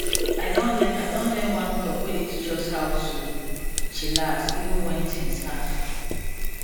i don learn i don learn one talk wey dey teach us how to chillas even when things hard